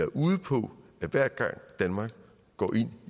ude på at hver gang danmark går ind